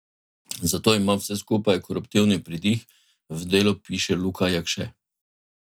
Zato ima vse skupaj koruptivni pridih, v Delu piše Luka Jakše.